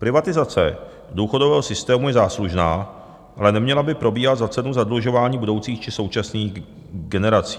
Privatizace důchodového systému je záslužná, ale neměla by probíhat za cenu zadlužování budoucích či současných generací.